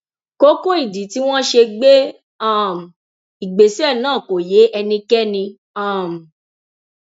kókó ìdí tí wọn ṣe gbé um ìgbésẹ náà kò yé ẹnikẹni um